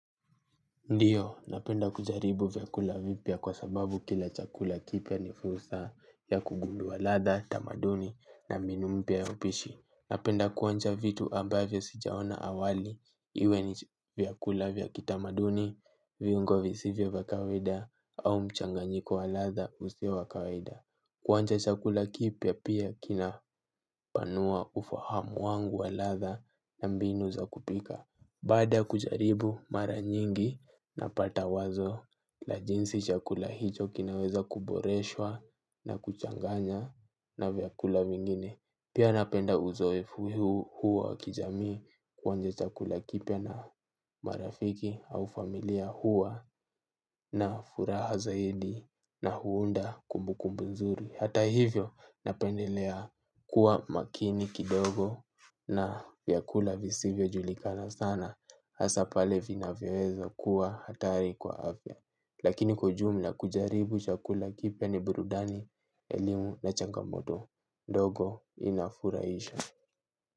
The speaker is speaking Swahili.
Ndiyo, napenda kujaribu vyakula vipya kwa sababu kila chakula kipya ni fursa ya kugundua latha, tamaduni na mbinu mpya ya upishi. Napenda kuonja vitu ambavyo sijaona awali iwe ni vyakula vya kitamaduni, viungo visivyo vya kawaida au mchanganyiko wa latha usio wa kawaida. Kuonja chakula kipya pia kina panua ufahamu wangu wa latha na mbinu za kupika. Baada ya kujaribu mara nyingi napata wazo la jinsi chakula hicho kinaweza kuboreshwa na kuchanganya na vyakula vingine. Pia napenda uzoefu huo wa kijamii kuonja chakula kipya na marafiki au familia huwa na furaha zaidi na huunda kumbukumbu nzuri. Hata hivyo napendelea kuwa makini kidogo na vyakula visivyo julikana sana. Hasaa pale vinavyoweza kuwa hatari kwa afya. Lakini kwa ujumla kujaribu chakula kipya ni burudani elimu na changamoto ndogo inafurahisha.